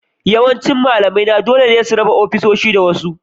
Yawancin malamaina dole ne su raba ofisoshinsu da wasu